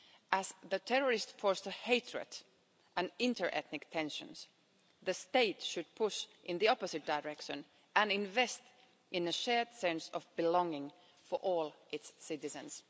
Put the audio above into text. As the terrorists incite hatred and inter ethnic tensions, the state should push in the opposite direction and invest in a shared sense of belonging for all its citizens.